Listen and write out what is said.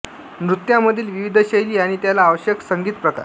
नृत्यांमधील विविध शैली आणि त्याला आवश्यक संगीत प्रकार